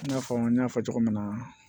I n'a fɔ n y'a fɔ cogo min na